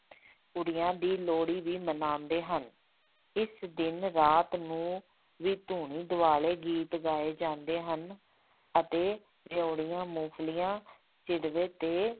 ਕੁੜੀਆਂ ਦੀ ਲੋਹੜੀ ਵੀ ਮਨਾਉਂਦੇ ਹਨ, ਇਸ ਦਿਨ ਰਾਤ ਨੂੰ ਵੀ ਧੂਣੀ ਦੁਆਲੇ ਗੀਤ ਗਾਏ ਜਾਂਦੇ ਹਨ ਅਤੇ ਰਿਓੜੀਆਂ, ਮੂੰਫਲੀਆਂ ਸਿੱਟਦੇ ਤੇ